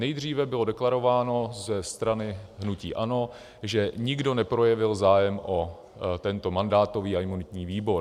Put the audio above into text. Nejdříve bylo deklarováno ze strany hnutí ANO, že nikdo neprojevil zájem o tento mandátový a imunitní výbor.